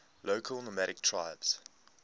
local nomadic tribes